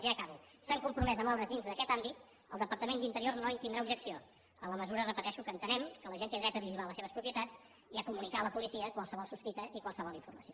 ja acabo s’han compromès a moure’s dins d’aquest àmbit el departament d’interior no hi tindrà objecció en la mesura ho repeteixo que entenem que la gent té dret a vigilar les seves propietats i a comunicar a la policia qualsevol sospita i qualsevol informació